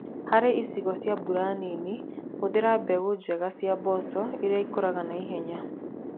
Harĩ icigo cia mbura nini, hũthira mbegu njega cia mboco irĩa ikũraga na ihenya.